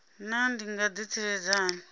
naa ndi nga ḓitsireledza hani